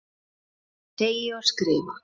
Segi ég og skrifa.